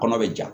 Kɔnɔ bɛ ja